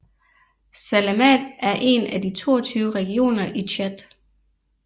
Salamat er en af de 22 regioner i Tchad